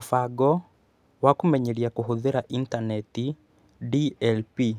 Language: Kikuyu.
Mũbango wa Kũmenyeria Kũhũthĩra Intaneti (DLP)